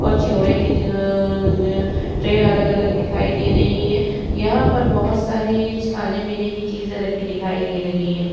और चियोडे ट्रेय अलग-अलग दिखाई दे रही है। यहाँ पर बोहोत सारे खाने पीने की चीज़े रखे दिखाई दे रही हैं।